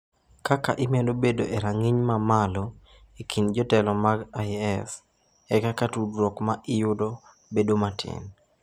Kaka imedo bedo e rang’iny ma malo e kind jotelo mag IS, e kaka tudruok ma iyudo bedo matin.